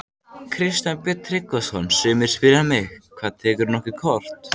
Kristján Björn Tryggvason: Sumir spyrja mig: Hvað, tekurðu nokkuð kort?